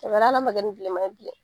O kɛra hal'a man kɛ ni bilema ye bilen.